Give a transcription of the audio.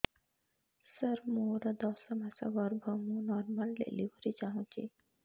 ସାର ମୋର ଦଶ ମାସ ଗର୍ଭ ମୁ ନର୍ମାଲ ଡେଲିଭରୀ ଚାହୁଁଛି